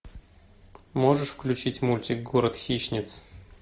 можешь включить мультик город хищниц